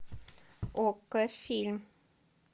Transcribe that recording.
окко фильм